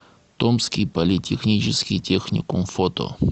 томский политехнический техникум фото